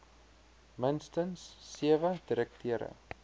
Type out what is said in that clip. minstens sewe direkteure